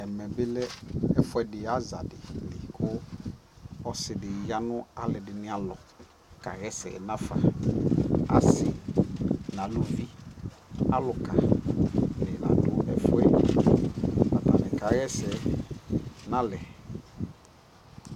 Ɛmɛ bi lɛ ɛfuɛdi azadi kʋ ɔsi di ya nʋ alʋɔdini alɔkaɣaɛsɛ nafa Asi nʋ alʋvi, alʋka ni la dʋ ɛfu yɛ kʋ atani kaɣa ɛsɛ nʋ alɛ